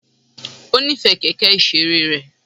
Ó nífẹ̀ẹ́ kẹ̀kẹ́ ìṣeré rẹ̀.